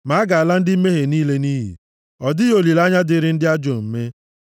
Ma a ga-ala ndị mmehie niile nʼiyi; ọ dịghị olileanya dịịrị ndị ajọ omume.